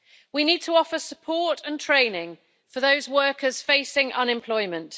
We need to offer support and training for those workers facing unemployment.